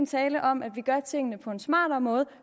tale om at vi gør tingene på en smartere måde